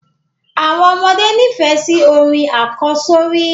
Àwọn ọmọdé nifẹ sí orin àkọ́sọ́rí